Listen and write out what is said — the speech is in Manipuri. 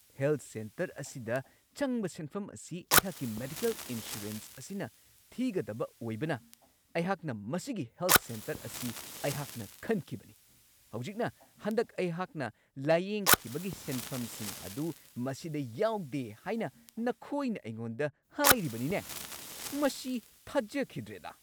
ꯍꯦꯜꯊ ꯁꯦꯟꯇꯔ ꯑꯁꯤꯗ ꯆꯪꯕ ꯁꯦꯟꯐꯝ ꯑꯁꯤ ꯑꯩꯍꯥꯛꯀꯤ ꯃꯦꯗꯤꯀꯦꯜ ꯏꯟꯁꯨꯔꯦꯟꯁ ꯑꯁꯤꯅ ꯊꯤꯒꯗꯕ ꯑꯣꯏꯕꯅ ꯑꯩꯍꯥꯛꯅ ꯃꯁꯤꯒꯤ ꯍꯦꯜꯊ ꯁꯦꯟꯇꯔ ꯑꯁꯤ ꯑꯈꯟꯅꯅ ꯈꯟꯈꯤꯕꯅꯤ ꯫ ꯍꯧꯖꯤꯛꯅ ꯍꯟꯗꯛ ꯑꯩꯍꯥꯛꯅ ꯂꯥꯢꯌꯦꯡꯈꯤꯕꯒꯤ ꯁꯦꯟꯐꯝꯁꯤꯡ ꯑꯗꯨ ꯃꯁꯤꯗ ꯌꯥꯎꯗꯦ ꯍꯥꯏꯅ ꯅꯈꯣꯏꯅ ꯑꯩꯉꯣꯟꯗ ꯍꯥꯏꯔꯤꯕꯅꯤꯅꯦ ? ꯃꯁꯤ ꯊꯥꯖꯈꯤꯗ꯭ꯔꯦꯗꯥ !